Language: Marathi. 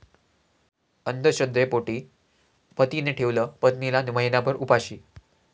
अंधश्रद्धेपोटी पतीने ठेवलं पत्नीला महिनाभर उपाशी